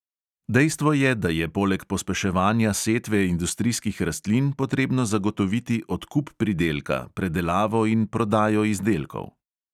Dejstvo je, da je poleg pospeševanja setve industrijskih rastlin potrebno zagotoviti odkup pridelka, predelavo in prodajo izdelkov.